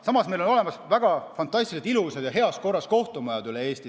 Samas on meil fantastiliselt ilusad ja heas korras kohtumajad üle Eesti.